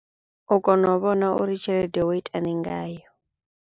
U kona u vhona uri Tshelede wo itani ngayo.